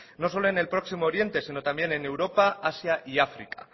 no solo en el próximo oriente sino también en europa asia y áfrica